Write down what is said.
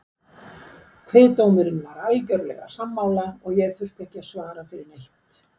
Kviðdómurinn var algjörlega sammála og ég þurfti ekki að svara fyrir neitt.